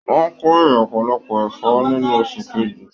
Wọn k'ore ọpọlọpọ ẹfọ nínú oṣù kejì.